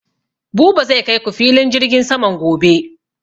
Buba zai kai ku filin jirgin saman gobe